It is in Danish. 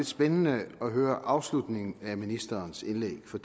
spændende at høre afslutningen af ministerens indlæg for